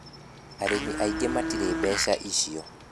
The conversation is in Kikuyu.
Arĩmi aingĩ matirĩ mbeca icio